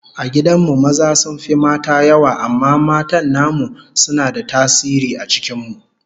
A gidan mu maza sun fi mata yawa amma matan namu suna da tasiri a cikin mu